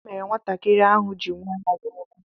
Otuto mere nwatakịrị ahụ ji nwee ahụ ọkụ.